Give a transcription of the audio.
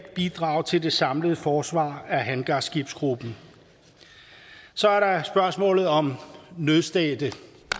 bidrag til det samlede forsvar af hangarskibsgruppen så er der spørgsmålet om nødstedte